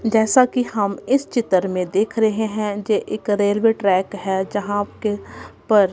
जैसा कि हम इस चित्र में देख रहे हैं ये एक रेलवे ट्रैक है जहां के पर--